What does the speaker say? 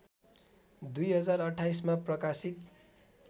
२०२८ मा प्रकाशित